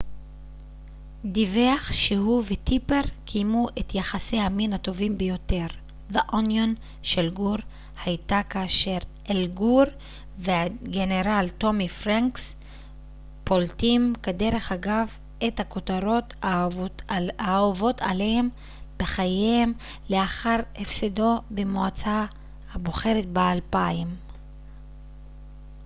אל גור והגנרל טומי פרנקס פולטים כדרך אגב את הכותרות האהובות עליהם של גור היתה כאשר the onion דיווח שהוא וטיפר קיימו את יחסי המין הטובים ביותר בחייהם לאחר הפסדו במועצה הבוחרת ב-2000